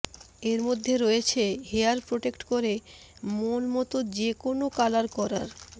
এর মধ্যে রয়েছে হেয়ার প্রোটেক্ট করে মন মতো যে কোন কালার করার